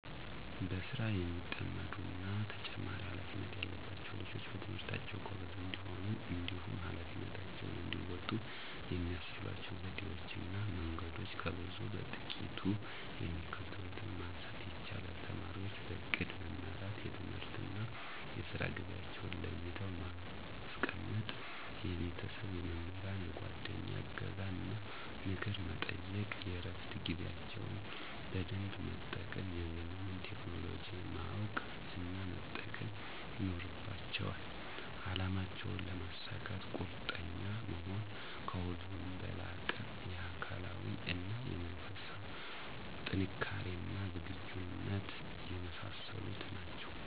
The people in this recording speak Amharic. በስራ የሚጠመዱ እና ተጨማሪ ሃላፊነት ያለባቸዉ ልጆች በትምህርታቸዉ ጎበዝ እንዲሆኑ እንዲሁም ኀላፊነታቸውን እንዲወጡ የሚያስችሏቸው ዘዴወች እና መንገዶች ከብዙ በጥቂቱ የሚከተሉትን ማንሳት ይቻላል:- ተማሪወች በእቅድ መመራት፤ የትምህርትና የስራ ጊዜአቸዉን ለይተው ማስቀመጥ፤ የቤተሰብ፣ የመምህራን፣ የጓደኛ እገዛን እና ምክር መጠየቅ፤ የእረፋት ጊዜያቸውን በደንብ መጠቀም፤ የዘመኑን ቴክኖሎጂ ማወቅ እና መጠቀም ይኖርባቸዋል፤ አላማቸውን ለመሳካት ቁርጠኛ መሆን፤ ከሁሉም በላቀ የአካላዊ እና የመንፈስ ጥንካሬና ዝግጁነት የመሳሰሉት ናቸዉ።